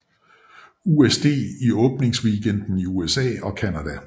USD i åbningsweekenden i USA og Canada